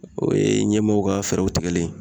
O ye ɲɛmɔgɔw ka fɛɛrɛw tigɛlen